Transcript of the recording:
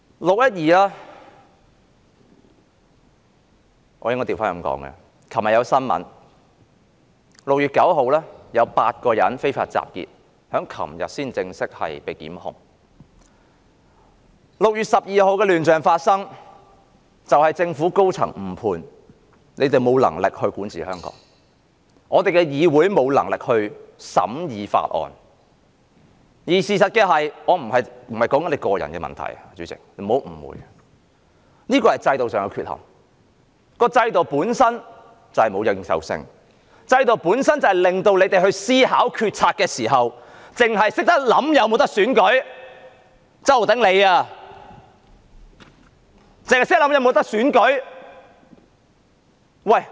根據新聞報道 ，6 月9日有8人昨天被正式檢控非法集結 ；6 月12日發生亂象是因為政府高層誤判，他們沒有能力管治香港，議會也沒有能力審議法案，而事實上……主席，不要誤會，我說的並不是你個人的問題，我說的是制度上的缺陷，制度本身沒有認受性，以致建派議員他們思考決策時，只想到是否可以進行選舉，就像周浩鼎議員一樣。